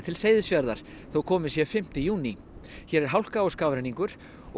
Seyðisfjarðar þó kominn sé fimmti júní hér er hálka og skafrenningur